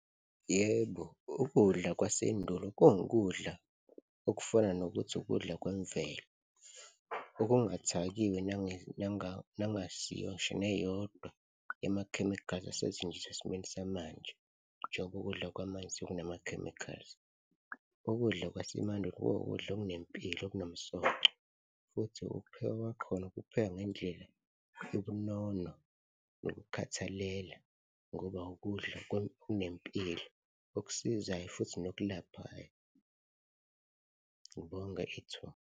Yebo, ukudla kwasendulo kungukudla okufana nokuthi ukudla kwemvelo, okungathakiwe nangasiyo ngisho neyodwa yamakhemikhali asetshenziswa esimeni samanje, njengoba ukudla kwamanje sekunama-chemicals. Ukudla kwasemandulo kuwukudla okunempilo okunomsoco futhi ukuphekwa kwakhona kuphekwa ngendlela yobunono nokukhathalela ngoba ukudla kunempilo okusizayo futhi nokulapha. Ngibonge ithuba.